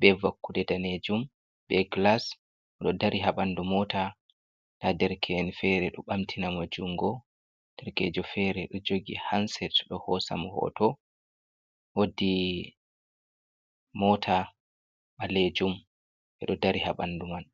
be vakkude danejum, be glas, oɗo dari habandu mota, nda derke’en fere ɗo ɓamtinamo jungo, derkejo fere ɗo jogi hanset ɗo hosamo hoto, wodi mota ɓalejum ɓeɗo dari habandu man.